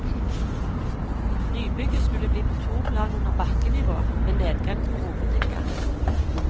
Nybygget skulle bli på to plan under bakkenivå, med nedgang fra hovedinngangen.